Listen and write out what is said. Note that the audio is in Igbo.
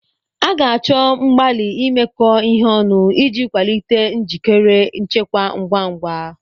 A ga-achọ mgbalị imekọ ihe ọnụ iji kwalite njikere nchekwa ngwa ngwa.